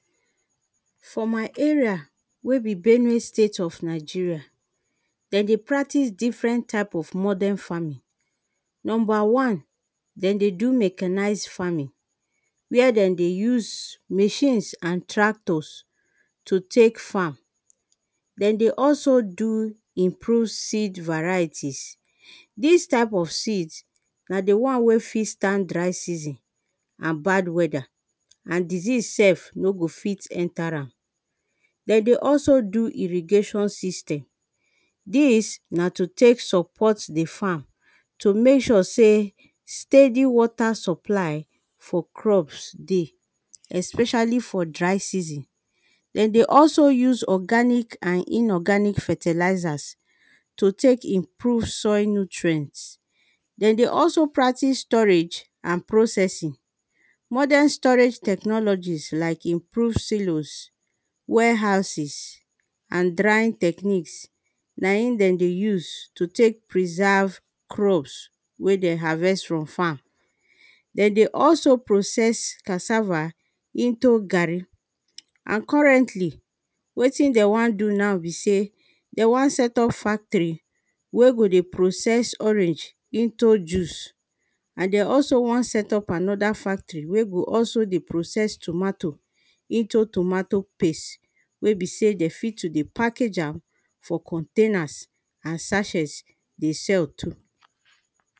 For my area wey be Benue State of Nigeria. Den dey practice different type of modern farming, number one den dey do mechanised farming, where den dey use machines and tractors to tek farm. Den dey also do improve seed varieties. Dis type of seed, na the one wey fit stand dry season, and bad weather, and disease sef no fit enter am. De dey also do, irrigation system, dis na to tek support the farm to mek sure sey, steady water supply for crops dey especially for dry season. Den dey also use organic and inorganic fertilizers to tek improve soil nutrient. Den dey also practice storage and processing, modern storage technology like: improve silos, warehouses and drying techniques, na in den dey use to tek preserve crops wey den harvest from farm, dey also process cassava into garri and currently wetin den wan do now be sey, de wan set up factory wey go dey process orange into juice and de also wan set up another factory wey go also dey process tomato into tomato paste, wey be sey, de fit to dey package am for containers and sachets dey sell too.